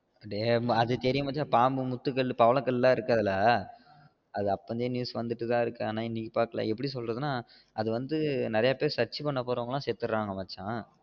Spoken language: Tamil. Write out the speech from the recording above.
டேய் அது தெரியும் மச்சான் பாம்பு முத்து கோவில்ல பவள கல்லா இருக்கு அதில்ல அது அப்பலயே news வந்துட்டி தான் இருக்கு ஆனால் இன்னைக்கு பாக்குல அது எப்டினா சொல்றதுனா நிறைய பேரு search பண்ண போறவங்க எல்லாம் செத்திடுராங்க மச்சான்